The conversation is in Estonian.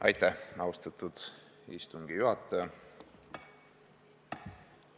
Aitäh, austatud istungi juhataja!